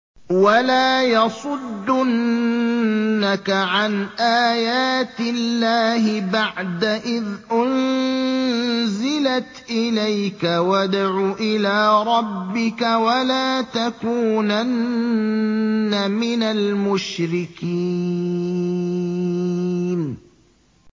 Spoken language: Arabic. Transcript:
وَلَا يَصُدُّنَّكَ عَنْ آيَاتِ اللَّهِ بَعْدَ إِذْ أُنزِلَتْ إِلَيْكَ ۖ وَادْعُ إِلَىٰ رَبِّكَ ۖ وَلَا تَكُونَنَّ مِنَ الْمُشْرِكِينَ